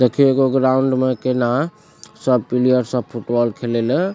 देखी एगो ग्राउंड में केना सब प्लेयर सब फुटबॉल खेले ल --